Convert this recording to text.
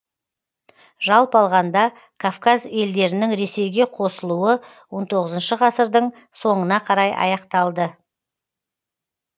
жалпы алғанда кавказ елдерінің ресейге қосылуы он тоғызыншы ғасырдың соңына қарай аяқталды